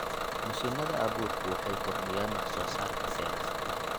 Mashiinada abuurku waxay kordhiyaan wax soo saarka beeraha.